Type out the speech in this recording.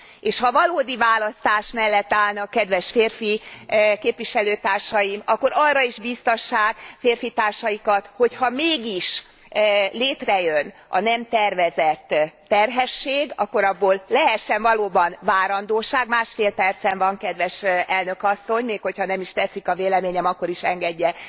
És, ha valódi választás mellett állnak kedves férfi képviselőtársaim, akkor arra is bíztassák férfitársaikat, hogy ha mégis létrejön a nem tervezett terhesség, akkor abból lehessen valóban várandósság másfél percem van kedves elnök asszony, még, hogy ha nem is tetszik a véleményem, akkor is engedje